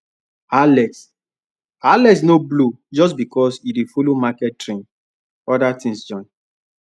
alex alex no blow just because e dey follow market trend other things join